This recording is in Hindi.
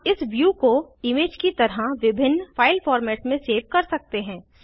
हम इस व्यू को इमेज की तरह विभिन्न फाइल फॉर्मेट्स में सेव कर सकते हैं